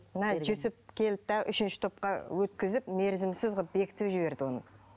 мына жүсіп келді де үшінші топқа өткізіп мерзімсіз қылып бекітіп жіберді оны